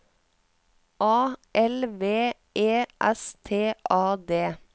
A L V E S T A D